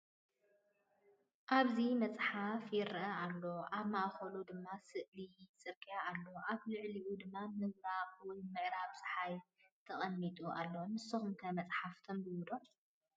ኣብዚ መጽሓፍ ይርአ ኣሎ። ኣብ ማእከሉ ድማ ስእሊ ጽርግያ ኣሎ፣ ኣብ ልዕሊኡ ድማ ምብራቕ ወይ ምዕራብ ጸሓይ ተቐሚጡ ኣሎ። ንስኩም ከ መፅሓፍ ተንቡቡ ዶ?